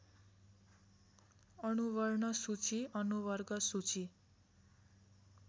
अनुवर्णसूची अनुवर्गसूची